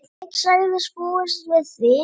Ég sagðist búast við því.